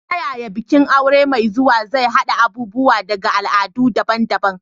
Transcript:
Ta yaya bikin aure mai zuwa zai haɗa abubuwa daga al'adu daban-daban?